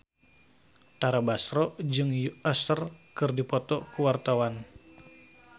Tara Basro jeung Usher keur dipoto ku wartawan